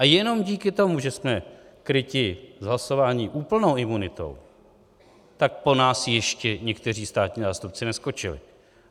A jenom díky tomu, že jsme kryti z hlasování úplnou imunitou, tak po nás ještě někteří státní zástupci neskočili.